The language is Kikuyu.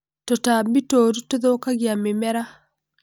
tũtambi tũũru tũthũkagia mĩmera